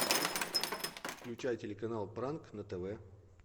включай телеканал пранк на тв